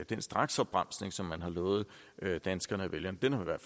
den straksopbremsning som man har lovet danskerne og vælgerne den har man